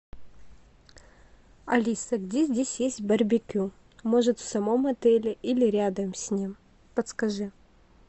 алиса где здесь есть барбекю может в самом отеле или рядом с ним подскажи